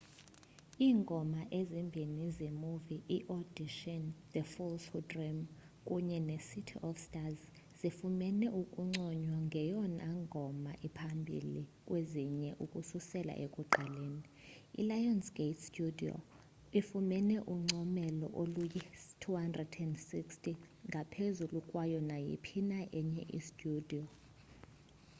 iingoma ezimbini zemuvi iaudition the fools who dream kunye necity of stars zifumene ukunconywa ngeyona ngoma iphambili kweziyilwe ukususela ekuqaleni. ilionsgate studio ifumene uncomelo oluyi-26o - ngaphezulu kwayo nayiphi na enye studiyo